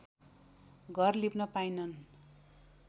घर लिप्न पाइनन्